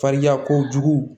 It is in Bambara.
Fariya kojugu